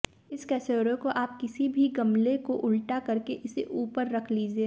इस कसौरे को आप किसी भी गमले को उल्टा करके इसे ऊपर रख लीजिये